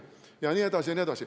Jne, jne.